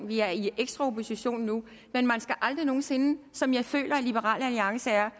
vi er i ekstra opposition nu men man skal aldrig nogen sinde som jeg føler liberal alliance er